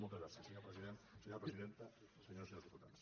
moltes gràcies senyor president senyora presidenta senyores i senyors diputats